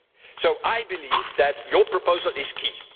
So I believe that your proposal is key.